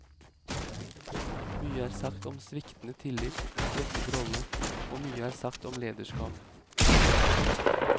Mye er sagt om sviktende tillit og svekket rolle, og mye er sagt om lederskap.